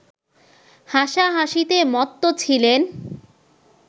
হাসা-হাসিতে মত্ত ছিলেন